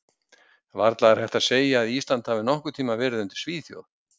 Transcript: Varla er hægt að segja að Ísland hafi nokkurn tímann verið undir Svíþjóð.